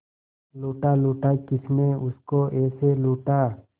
लूटा लूटा किसने उसको ऐसे लूटा